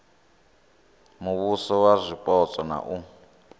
muvhuso wa zwipotso na u